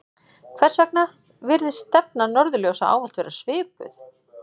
hvers vegna virðist stefna norðurljósa ávallt vera svipuð